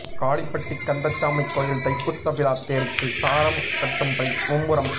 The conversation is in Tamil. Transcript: காளிப்பட்டி கந்தசாமி கோயில் தைப்பூச விழா தேருக்கு சாரம் கட்டும் பணி மும்முரம்